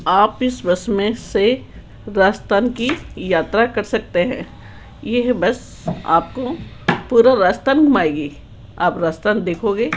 आप इस बस में से राजस्थान की यात्रा कर सकते हैं ये बस आपको पूरा राजस्थान घुमाएगी आप राजस्थान देखोगे।